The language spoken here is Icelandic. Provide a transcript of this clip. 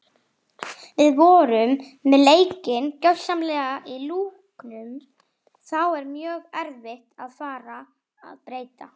Við vorum með leikinn gjörsamlega í lúkunum þá er mjög erfitt að fara að breyta.